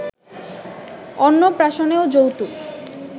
অন্নপ্রাশনেও যৌতুক